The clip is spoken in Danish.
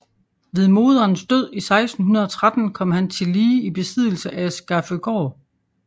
Ved moderens død 1613 kom han tillige i besiddelse af Skaføgård